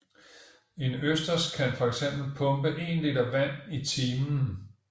En østers kan fx pumpe en liter vand i timen